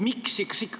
Miks?